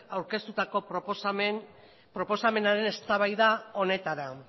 aurkeztutako proposamenaren eztabaida honetara